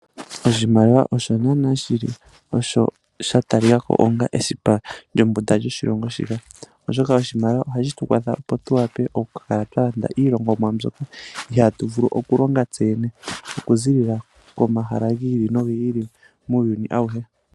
Oshimaliwa osho naana shili onga sha talika ko esipa lyombunda lyoshilongo shika. Oshoka oshimaliwa osho hashi tu kwatha tu kale twa landa iinima yiilongomwa mbyoka ihaatu vulu oku landa kutse yene. oku ziilila komahala gi ili nogi ili muuyuni awuhe.